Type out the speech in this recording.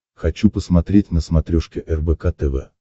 хочу посмотреть на смотрешке рбк тв